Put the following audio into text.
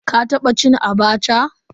Ka taba cin "Abacha"?